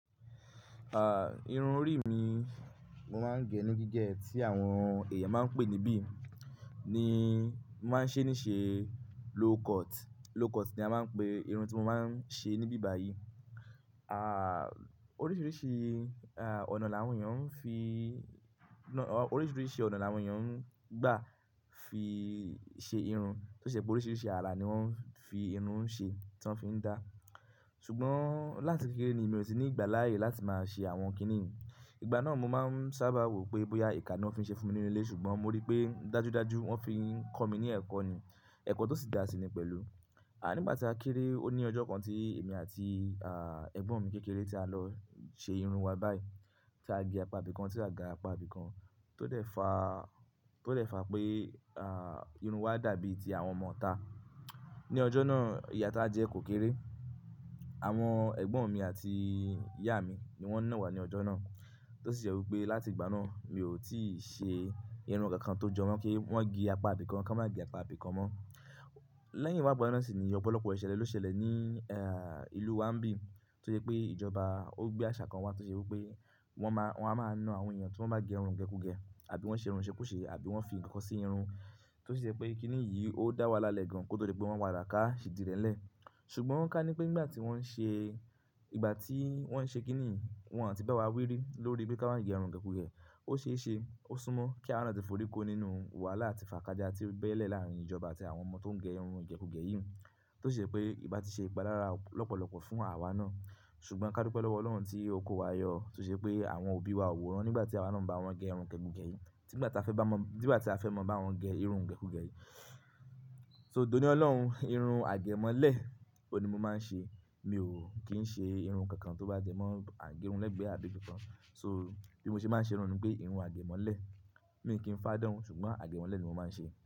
À, Irun orí mi mo máa ń gẹ ní gígẹ tí àwọn èèyàn máa ń pè níbí, ni mo máa ń ṣe ní ṣe low cut. Low cut ni a máa ń pè irun tí mo máa ń ṣe níbí báyìí. À, oríṣiríṣi, à, ọ̀nà láwọn èèyàn ń fi, ọ̀, oríṣiríṣi ọ̀nà láwọn èèyàn ń gbà fi ṣe irun. Tó ṣe pé oríṣiríṣi ara ni wọ́n fi irun ṣe tí wọ́n fi ń dá. Ṣùgbọ́n láti kékeré ni mi ò tí ní ìgbà láàyè láti máa ṣe àwọn kiní yìí. Ìgbà náà mo máa ń sábà wò pé bóyá ìka ni wọ́n fi ṣe fún mi nínú ilé, ṣùgbọ́n mo rí pé dájúdájú wọ́n fi ń kọ mí ní ẹ̀kọ́ ni, ẹ̀kọ́ tó sì dá sí ni pẹ̀lú. À, nígbà tí a kéré, ó ní ọjọ́ kan tí èmi àti, à, ẹ̀gbọ́n mi kékeré tí a lọ ṣe irun wa báyìí. Tí a gẹ apá ibìkan tí a ga apá ibìkan tó dẹ̀ fa, tó dẹ̀ fa pé, à, irun wa dàbí ti àwọn ọmo ita ní ọjọ́ náà ìyá ta jẹ́ kò kéré. Àwọn ẹ̀gbọ́n mi àti ìyá mi ni wọ́n nà wa ní ọjọ́ náà. Tó sì ṣe wí pé láti ìgbà náà mi ò tíì ṣe irun kankan tó jọ mọ́ kí wọ́n gé apá ibìkan ká má gẹ apá ibìkan mọ́. Lẹ́yìn ìwà ipá náà sì ni ọ̀pọ̀lọpọ̀ ìṣẹ̀lẹ̀ ló ṣẹlẹ̀ ní, e, ìlú wa ń bí. Tó jẹ́ pé ìjọba ó gbé àṣà kan wá tó ṣe wí pé wọ́n máa, wọ́n a máa na àwọn èèyàn tí wọ́n bá gẹ irun gẹku-gẹ, àbí wọ́n ṣe irun sekuse, àbí wọ́n fi ǹkan sí irun. Tó sì ṣe pé kiní yìí ó dá wahala le gan kótó ti pé wọ́n pasa ka idi rẹ́lẹ̀. Ṣùgbọ́n ká ní pé nígbà tí wọ́n ń ṣe, ìgbà tí wọ́n ń ṣe kiní yìí, wọ́n àti bá wa wírí lórí pé ká má gẹ irun gẹku-gẹ. Ó ṣe é ṣe, ó súnmọ́ kí àárùn àti forí kó nínú wàhálà àti fàkájá tí ó bẹ́lẹ̀ láàárín ìjọba àti àwọn ọmọ tó ń gẹ irun igẹku-gẹ yìí. Tó ṣe pé iba ti ṣe ìpalára lọ́pọ̀lọpọ̀ fún àwa ná. Ṣùgbọ́n ká dúpẹ́ lọ́wọ́ Ọlọ́run tí o ko wa yọ. Tó ṣe pé àwọn òbí wa ò wòó rán nígbà tí àwa náà ń bá wọn gẹ irun igẹku-gẹ yìí. Nígbà tí a fẹ́ bá wọn mọ, nígbà tí a fẹ́ mọ bá wọn gẹ irun igẹku-gẹ yìí. So, dòní Ọlọ́run, irun àgẹ̀ mọ́lẹ̀, ó ni mo máa ń ṣe. Mi ò kí ń ṣe irun kankan tó bá jẹ́ mọ́ àgẹ irun lẹ́gbẹ́ abi ibi kan So, bí mo ṣe máa ń ṣe irun ni pé irun àgẹ̀ mọ́lẹ̀. Mi ò kí ń fádán, ṣùgbọ́n àgẹ̀ mọ́lẹ̀ ni mo máa ń ṣe.